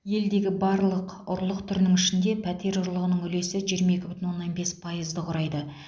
елдегі барлық ұрлық түрінің ішінде пәтер ұрлығының үлесі жиырма екі бүтін оннан бес пайызды құрайды